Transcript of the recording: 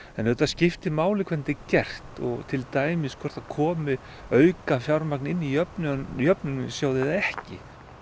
en auðvitað skiptir máli hvernig þetta gert og til dæmis hvort að komi aukafjármagn inn í jöfnunarsjóð jöfnunarsjóð eða ekki